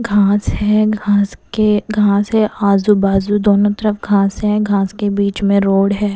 घास है घास के घास है आजू बाजू दोनों तरफ घास है घास के बीच में रोड है।